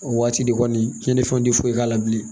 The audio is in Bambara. O waati de kɔni cɛnni fɛnw tɛ foyi k'a la bilen